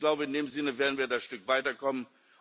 Ich glaube, in dem Sinne werden wir ein Stück weiterkommen.